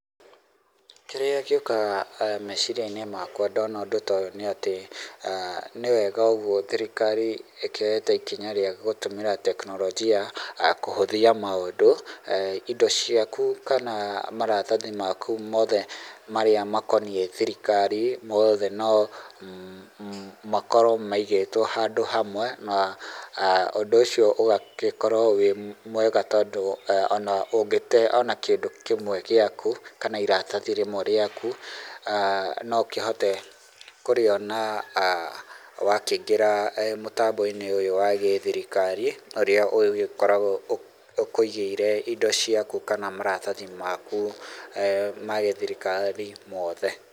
Kĩrĩa gĩũkaga meciria-inĩ makwa ndona ũndũ toyũ nĩ atĩ, nĩ wega ũgwo thirikari ĩkĩoyete ikinya rĩa gũtũmĩra teknorojia kũhũthia maũndũ. Indo ciaku kana maratathi maku mothe marĩa makoniĩ thirikari mothe no makorwo maigĩtwo handũ hamwe, na ũndũ ũcio ũgagĩkorwo wĩ mwega tondũ, ona ũngĩte ona kĩndũ kĩmwe gĩaku kana iratathi rĩmwe rĩaku, no ũkĩhote kũrĩona wakĩingĩra mũtambo-inĩ ũyũ wa gĩthirikari, ũrĩa ũgĩkoragwo ũkũigĩire indo ciaku kana maratathi maku ma gĩthirikari mothe.